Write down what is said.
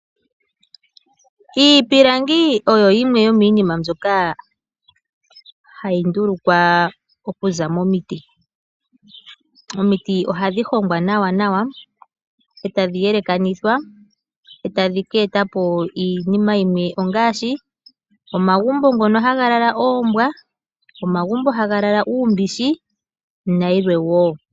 Iipilangi oyo yimwe yomiinima mbyoka hayi ndulukwa okuza momiti. Omiti ohadhi hongwa nawa, e tadhi yelekanithwa e tadhi ka eta po iinima yimwe ngaashi omagumbo mono hamu lala oombwa, uumbishi nayilwe wo.